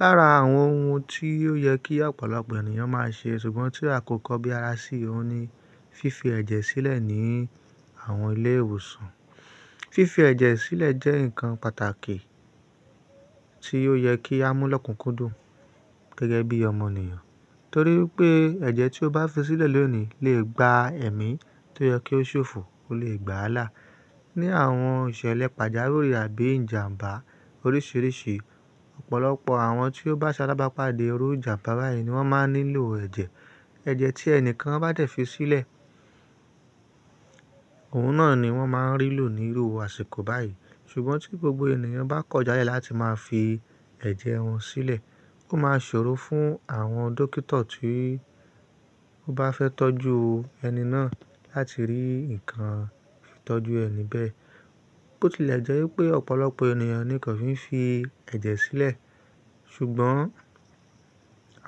Lára àwọn ohun tí ó yẹ kí ọ̀pọ̀lọpọ̀ ènìyàn máa ṣe ṣùgbọ́n tí a kò kọ bí ara sí òun ni fífi ẹ̀jẹ̀ sílẹ̀ ní àwọn ilé ìwòsàn. Fífi ẹ̀jẹ̀ sílẹ̀ jẹ́ ǹkan pàtàkì tí ò yẹ kí a mú lọ́kùnkúndùn gẹ́gẹ́ bí ọmọ ènìyàn. Torí pé ẹ̀jẹ̀ tí ó bá fi sílẹ̀ lónìí le gba ẹ̀mí tí ó yẹ kí ó ṣòfò, ó lè gbà lá. Ni àwọn ìṣẹ̀lẹ̀ pàjáwìrì àbí ìjàmbá oríṣiríṣi, ọ̀pọ̀lọpọ̀ àwọn tí ó bá sálábàpá dé orí ìjàmbá báyìí ni wọ́n máa nílò ẹ̀jẹ̀. Ẹ̀jẹ̀ tí ẹnìkan bá dẹ̀ fi sílẹ̀, òun náà ni wọ́n máa ń rí lò ní irú àṣìkò báyìí. Ṣùgbọ́n tí gbogbo ènìyàn bá kọjá láti máa fi ẹ̀jẹ̀ wọn sílẹ̀, ó máa ṣòro fún àwọn dókítà tí ó bá fẹ́ tọ́jú ẹni náà láti rí ǹkan ìtọ́jú ẹni bẹ́ẹ̀. Bò tilẹ̀ jẹ́ wípé ọ̀pọ̀lọpọ̀ ènìyàn ni kò fi ń fi ẹ̀jẹ̀ sílẹ̀, ṣùgbọ́n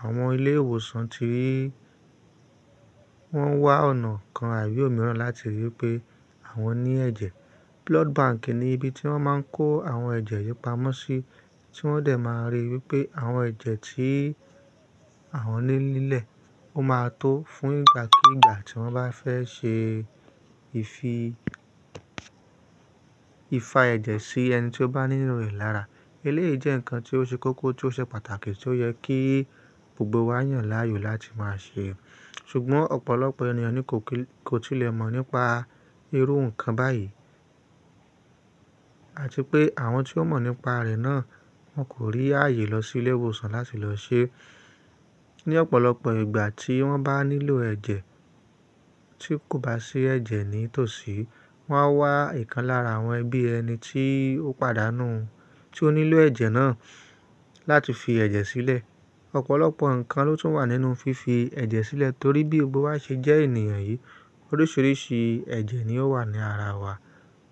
àwọn ilé ìwòsàn ti wọ́n wá ọ̀nà kan abi omìíràn láti rí pé àwọn ní ẹ̀jẹ̀. Blood bank ni ibi tí wọ́n máa ń kó àwọn ẹ̀jẹ̀ ìyípamọ́ sí tí wọ́n dẹ̀ máa rí wípé àwọn ẹ̀jẹ̀ tí àwọn ní nílẹ̀, ó máa tó fún ìgbà kú ìgbà tí wọ́n bá fẹ́ ṣe ìfi ifa ẹ̀jẹ̀ sí ẹni tí ó bá nílò rẹ̀ lára. Elé yìí jẹ́ ǹkan tí ó ṣe kókó tí ó ṣe pàtàkì tí ó yẹ kí gbogbo wa yàn láàyò láti máa ṣe. Ṣùgbọ́n ọ̀pọ̀lọpọ̀ ènìyàn ni kò tilẹ̀ mọ̀ nípa irú ǹkan báyìí àti pé àwọn tí ó mọ̀ nípa rẹ̀ náà wọn kò rí ààyè lọ sí ilé ìwòsàn láti lọ ṣe. Ni ọ̀pọ̀lọpọ̀ ìgbà tí wọ́n bá nílò ẹ̀jẹ̀ tí kò bá sí ẹ̀jẹ̀ ní tòsí, wọ́n á wá ǹkan lára àwọn ẹbí ẹni tí ó pàdánù, tí ó nílò ẹ̀jẹ̀ náà láti fi ẹ̀jẹ̀ sílẹ̀. Ọ̀pọ̀lọpọ̀ ǹkan ló tún wà nínú fífi ẹ̀jẹ̀ sílẹ̀ torí bí gbogbo wa ṣe jẹ́ ènìyàn yìí, oríṣiríṣi ẹ̀jẹ̀ ni ó wà ní ara wa.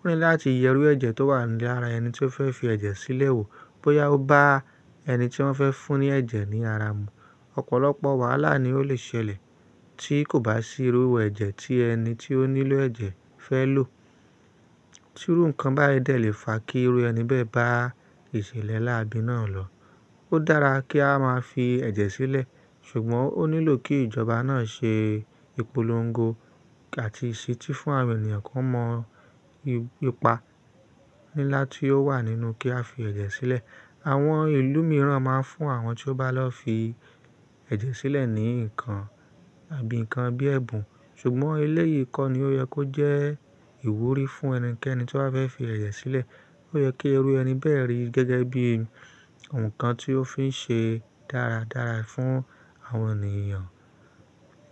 Ó ní láti yẹrú ẹ̀jẹ̀ tó wà ní ara ẹni tí ó fẹ́ fi ẹ̀jẹ̀ sílẹ̀ wò bóyá ó bá ẹni tí wọ́n fẹ́ fún ní ẹ̀jẹ̀ ní ara mu. Ọ̀pọ̀lọpọ̀ wàhálà ni ó lè ṣẹlẹ̀ tí kò bá sí irú ẹ̀jẹ̀ tí ẹni tí ó nílò ẹ̀jẹ̀ fẹ́ lò. Tí irú ǹkan báyìí dẹ̀ lè fa kí irú ẹni bẹ́ẹ̀ bá ìṣẹ̀lẹ̀ láàbínà lọ. Ó dára kí á máa fi ẹ̀jẹ̀ sílẹ̀, ṣùgbọ́n ó nílò kí ìjọba náà ṣe ìpolongo àti ìṣetí fún àwọn ènìyàn kí wọ́n mọ̀ ipa ńlá tí ó wà nínú kí a fi ẹ̀jẹ̀ sílẹ̀. Àwọn ìlú mìíràn máa ń fún àwọn tí ó bá lọ fi ẹ̀jẹ̀ sílẹ̀ ní ǹkan àbí ǹkan bíi ẹ̀bùn, ṣùgbọ́n ilé yìí kọ́ ni ó yẹ kó jẹ́ ìwúrí fún ẹnikẹ́ni tó bá fẹ́ fi ẹ̀jẹ̀ sílẹ̀. Ó yẹ kí irú ẹni bẹ́ẹ̀ rí gẹ́gẹ́ bí ǹkan tí ó fín ṣe dáradára fún àwọn ènìyàn.